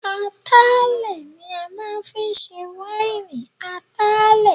Atalẹ̀ ni a máa ń fi í ṣe wáìnì Atalẹ̀